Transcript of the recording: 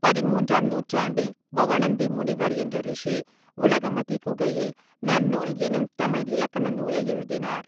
பதிமூன்றாம் நூற்றாண்டில் பவணந்தி முனிவர் என்ற ரிஷி உலகமதி குகையில் நன்னூல் எனும் தமிழ் இலக்கண நூலை எழுதினார்.